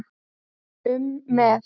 um með.